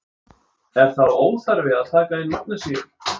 Er þá óþarfi að taka inn magnesíum?